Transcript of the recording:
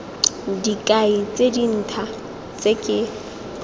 dikai tse dintha tse ke